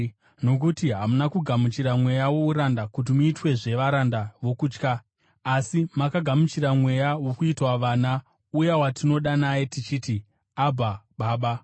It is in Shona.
Nokuti hamuna kugamuchira mweya wouranda kuti muitwezve varanda vokutya, asi makagamuchira Mweya wokuitwa vana, uya watinodana naye tichiti, “Abha, Baba.”